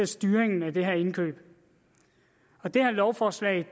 styringen af de her indkøb og det her lovforslag